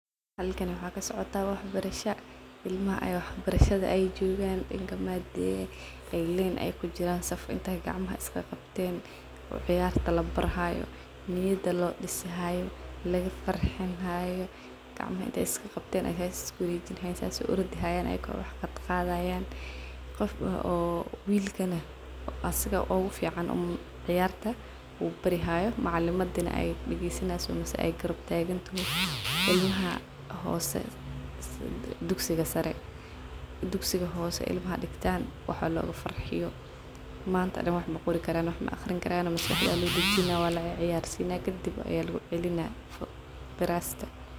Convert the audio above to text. Halkan waxaa kasocotah wax barasha , ilamaha a wax barashada ay jogan , waxan dihi karnaa , dee ay len kujiran saf inti gcmaha ay isqabqbten lagafaxinayo , ladiragalinayo wilka ciyarta barayo asaga ugufican sifican uu barayaa wa wil fican , ilmaha yaryar in lagafarxuiyo wa muhim manta dhan wax maaqrin karaan maqori karan , marar qar wa in lagafarxiyaah maaqrin karaan , maskax aa lodajinaah walaciyarsinaah kadib ayaa kugucelinaah glaska.